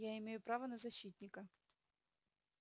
я имею право на защитника